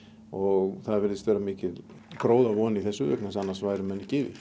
og það virðist vera mikil gróðavon í þessu vegna þess að annars væru menn ekki